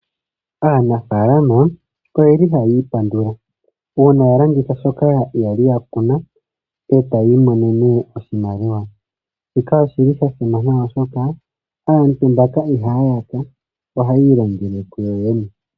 Aanafalama oyeli haayi ipandula una ya landitha shoka yali ya kuna etayi imonene oshimaliwa. Shika oshili shasimana oshoka aantu mbaka ihaa yaka. Ohayi ilongele kuyo yene.